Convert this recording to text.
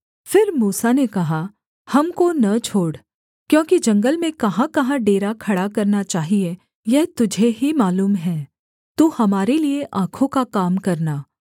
फिर मूसा ने कहा हमको न छोड़ क्योंकि जंगल में कहाँकहाँ डेरा खड़ा करना चाहिये यह तुझे ही मालूम है तू हमारे लिए आँखों का काम करना